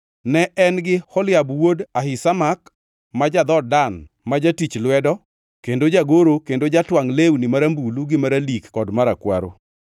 ne en gi Oholiab wuod Ahisamak ma ja-dhood Dan ma jatich lwedo kendo jagoro kendo jatwangʼ lewni marambulu gi maralik kod marakwaro.)